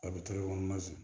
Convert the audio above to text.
A bɛ tɛgɛ kɔnɔna na